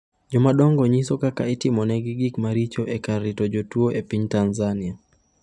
Jomadongo nyiso kaka itimonegi gik maricho e kar rito jotuwo e piny Tanzania